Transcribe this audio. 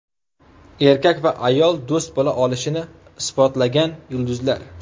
Erkak va ayol do‘st bo‘la olishini isbotlagan yulduzlar.